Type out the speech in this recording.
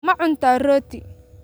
Ma cuntaa rooti?